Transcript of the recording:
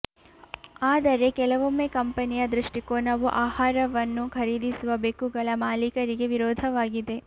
ಆದರೆ ಕೆಲವೊಮ್ಮೆ ಕಂಪನಿಯ ದೃಷ್ಟಿಕೋನವು ಆಹಾರವನ್ನು ಖರೀದಿಸುವ ಬೆಕ್ಕುಗಳ ಮಾಲೀಕರಿಗೆ ವಿರೋಧವಾಗಿದೆ